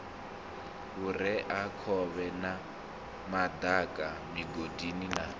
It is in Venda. vhureakhovhe na madaka migodi na